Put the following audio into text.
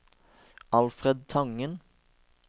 Alfred Tangen